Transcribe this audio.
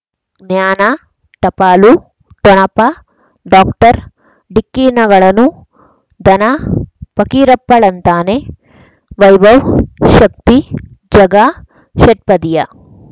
ಜ್ಞಾನ ಟಪಾಲು ಠೊಣಪ ಡಾಕ್ಟರ್ ಢಿಕ್ಕಿ ಣಗಳನು ಧನ ಫಕೀರಪ್ಪ ಳಂತಾನೆ ವೈಭವ್ ಶಕ್ತಿ ಝಗಾ ಷಟ್ಪದಿಯ